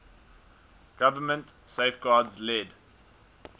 government safeguards led